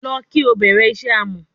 Lọ ki o bẹrẹ iṣẹ amọ